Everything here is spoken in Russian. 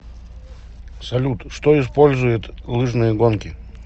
салют что использует лыжные гонки